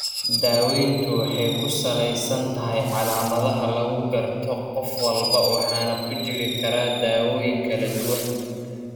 Daaweyntu waxay ku salaysan tahay calaamadaha lagu garto qof walba waxaana ku jiri kara daawooyin kala duwan.